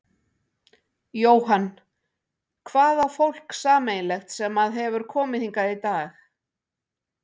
Jóhann: Hvað á fólk sameiginlegt sem að hefur komið hingað í dag?